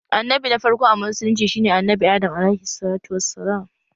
Annabi na farko a musulunci shi ne Annabi Adam(AS)